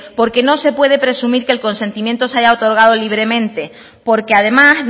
porque no se puede presumir que el consentimiento se haya otorgado libremente porque además